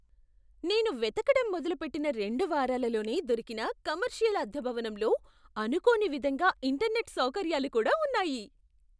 నేను వెతకడం మొదలుపెట్టిన రెండు వారాలలోనే దొరికిన కమర్షియల్ అద్దె భవనంలో అనుకోని విధంగా ఇంటర్నెట్, సౌకర్యాలు కూడా ఉన్నాయి.